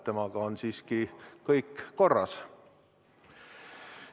Temaga on siiski kõik korras.